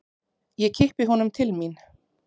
Ég kippi honum til mín.